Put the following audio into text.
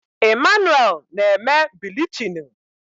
Emmanuel na-eme bilichini